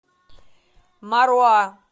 маруа